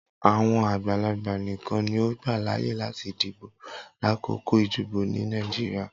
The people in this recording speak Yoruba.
Awọn agbalagba nikan ni o gba laaye lati dibo lakoko idibo ni Nigeria.